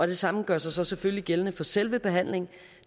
det samme gør sig selvfølgelig gældende for selve behandlingen